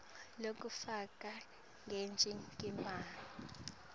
lekufaka sicelo kunobe